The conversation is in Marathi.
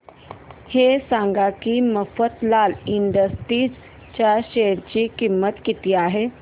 हे सांगा की मफतलाल इंडस्ट्रीज च्या शेअर ची किंमत किती आहे